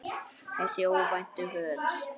Þessa óvæntu för.